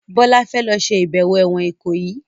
Bola fè ló ṣe ibẹwo èwòn Ikoyi.